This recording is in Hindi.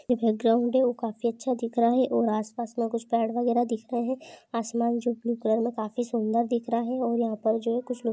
बैक ग्राउन्ड काफी अच्छा दिख रहा है और आस पास मे कुछ पैड वगेरा दिख रहे है आसमान जो ब्लू कलर मे काफी सुन्दर दिख रहा है और यहाँ पर जो कुछ लोग।